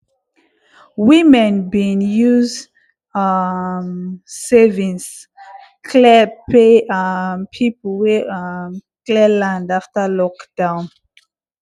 women bin use um savings clear pay um people wey um clear land after lockdown